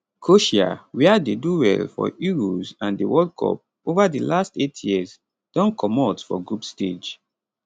croatia wia dey do well for euros and di world cup ova di last eight years don comot for group stage